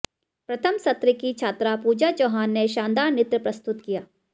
प्रथम सत्र की छात्रा पूजा चौहान ने शानदार नृत्य प्रस्तुत किया